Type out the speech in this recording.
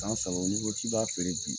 San saba n'i ko k'i b'a feere bi